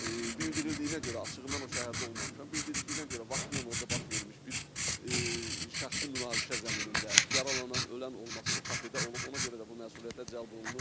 Bildirildiyinə görə açıqı mən o şəhərdə olmamışam, bildirildiyinə görə vaxtilə orada baş vermiş bir şəxsi münaqişə zəminində yaralanan, ölən olması o kafedə olub, ona görə də bu məsuliyyətə cəlb olunur.